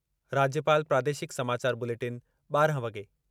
राज्यपाल प्रादेशिक समाचार बुलेटिन ॿारहं वॻे